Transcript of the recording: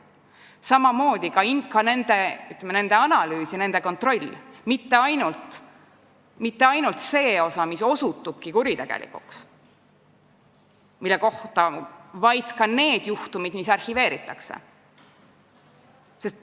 Samamoodi peab toimuma ka analüüs ja kontroll ning mitte ainult selle osa puhul, kus ongi tuvastatud kuritegelikkus, vaid olulised on ka need juhtumid, mis arhiveeritakse.